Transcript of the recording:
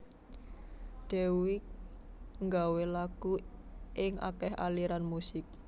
Dewiq nggawé lagu ing akéh aliran musik